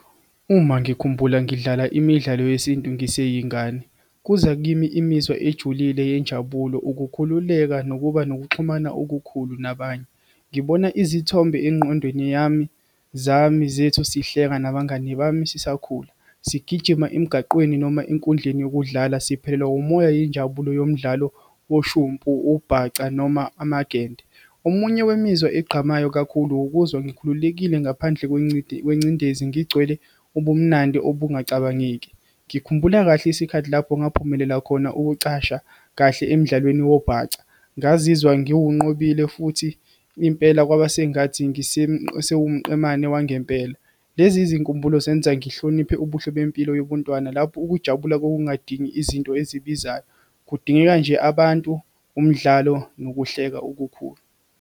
Uma ngikhumbula ngidlala imidlalo yesintu, ngiseyingane. Kuza kimi imizwa ejulile yenjabulo, ukukhululeka nokuba nokuxhumana okukhulu nabanye. Ngibona izithombe engqondweni yami zami, zethu sihleka nabangani bami, sisakhula, sigijima emgaqweni, noma enkundleni yokudlala, siphelelwa umoya, yinjabulo yomdlalo, woshumpu, ubhaca, noma amagende. Omunye wemizwa egqamayo kakhulu, ukuzwa ngikhululekile ngaphandle kwengcindezi, ngigcwele ubumnandi obungacabangeki. Ngikhumbula kahle isikhathi lapho ngaphumelela khona ukucasha kahle emdlalweni wobhaca, ngazizwa ngiwunqobile, futhi impela kwaba sengathi sewumqemane wangempela. Lezi zinkumbulo zenza ngihloniphe ubuhle bempilo yobuntwana, lapho ukujabula kwakungadingi izinto ezibizayo, kudingeka nje abantu, umdlalo, nokuhleka okukhulu.